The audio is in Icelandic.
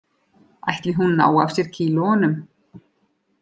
Ætli hún nái af sér kílóunum